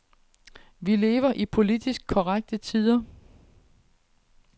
Vi lever i politisk korrekte tider.